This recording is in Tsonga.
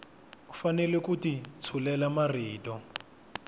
fanele ku ti tshulela marito